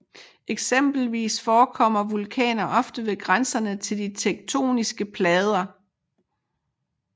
Eksempelvis forekommer vulkaner ofte ved grænserne til de tektoniske plader